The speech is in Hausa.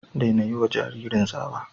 Daina yiwa jaririn tsawa.